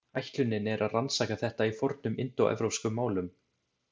Ætlunin er að rannsaka þetta í fornum indóevrópskum málum.